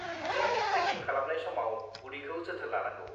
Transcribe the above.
जों ट्रेकिं खालामनाय समाव उदैखौ जोथोन लानांगौ।